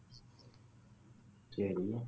சரி